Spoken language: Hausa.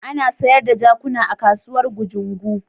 Ana sayar da jakuna a kasuwar Gujungu.